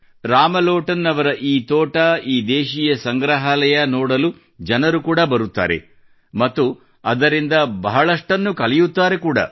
ರಾಮ್ ಲೋಟನ್ ಅವರ ಈ ತೋಟ ಈ ದೇಶೀಯ ಸಂಗ್ರಹಾಲಯ ನೋಡಲು ಜನರು ಕೂಡಾ ಬರುತ್ತಾರೆ ಮತ್ತು ಅದರಿಂದ ಬಹಳಷ್ಟನ್ನು ಕಲಿಯುತ್ತಾರೆ ಕೂಡಾ